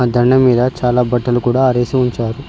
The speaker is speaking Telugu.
ఆ దండెం మీద చాలా బట్టలు కూడా ఆరేసి ఉంచారు.